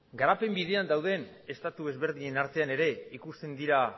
garapen bidean dauden estatu desberdinen artean ere ikusten dira